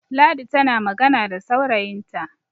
ladi tana magana da saurayinta